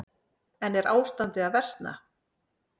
En er ástandið að versna?